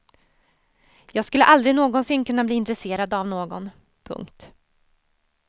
Jag skulle aldrig någonsin kunna bli intresserad av någon. punkt